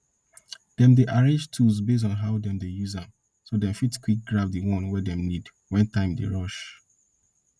dem dey arrange tools based on how dem dey use am so dem fit quick grab the one dem need when time dey rush